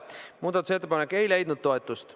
Muudatusettepanek ei leidnud toetust.